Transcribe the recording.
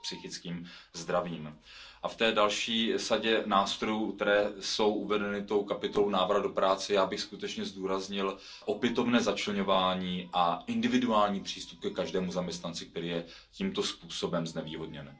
s psychickým zdravím. A v té další sadě nástrojů, které jsou uvedeny kapitolou Návrat do práce, já bych skutečně zdůraznil opětovné začleňování a individuální přístup ke každému zaměstnanci, který je tímto způsobem znevýhodněn.